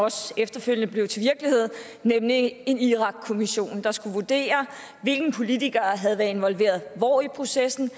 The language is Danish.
også efterfølgende blev til virkelighed en irakkommission der skulle vurdere hvilke politikere havde været involveret hvor i processen